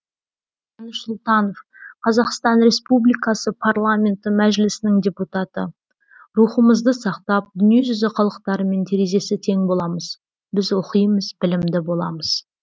қуаныш сұлтанов қазақстан республикасы парламенті мәжілісінің депутаты рухымызды сақтап дүние жүзі халықтарымен терезесі тең боламыз біз оқимыз білімді боламыз